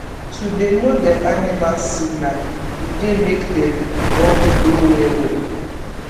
to dey know dem animal signal e dey make them bond grow well well